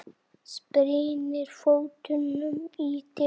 Spyrnir fótunum í dyrnar.